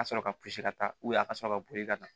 Ka sɔrɔ ka pɔsi ka taa a ka sɔrɔ ka boli ka na